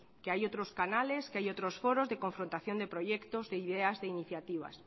que hay otros canales que hay otros foros de confrontación de proyectos de ideas de iniciativas